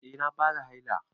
Eh na fara haila.